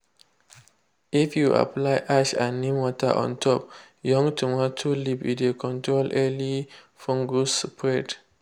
if you apply ash and neem water on top young tomato leaf e dey control early fungus spread.